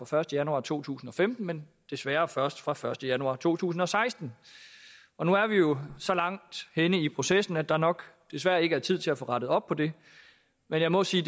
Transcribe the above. første januar to tusind og femten men desværre først fra den første januar to tusind og seksten og nu er vi jo så langt henne i processen at der nok desværre ikke er tid til at få rettet op på det men jeg må sige